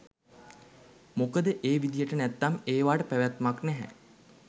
මොකද ඒවිදියට නැත්නම් ඒවාට පැවැත්මක් නැහැ